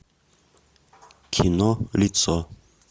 кино лицо